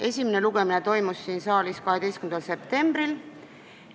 Esimene lugemine toimus siin saalis 12. septembril.